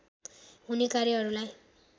हुने कार्यहरूलाई